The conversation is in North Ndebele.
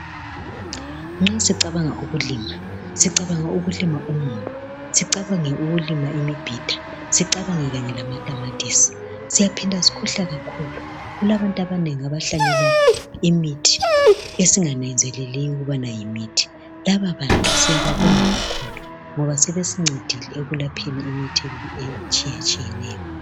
Nxa sicabanga ukulima, sicabanga ukulima umumbu, sicabange ukulima imibhida sicabange kanye lamatamatisi. Siyaphinda sikhohlwe kakhulu, kulabantu abanengi abahlanyela imithi esingananzeleliyo ukubana yimithi laba bantu siyababonga kakhulu ngoba sebesincedile ekulapheni imithi etshiyatshiyeneyo.